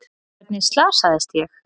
Hvernig slasaðist ég?